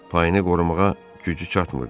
Payını qorumağa gücü çatmırdı.